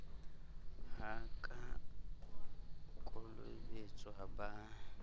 ha a ka kolobetswa ba